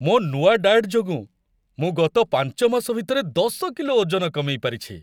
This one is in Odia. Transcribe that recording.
ମୋ' ନୂଆ ଡାଏଟ୍ ଯୋଗୁଁ ମୁଁ ଗତ ପାଞ୍ଚ ମାସ ଭିତରେ ଦଶ କିଲୋ ଓଜନ କମେଇ ପାରିଛି ।